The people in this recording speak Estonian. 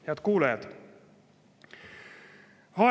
Head kuulajad!